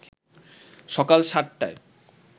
সকাল ৭টায়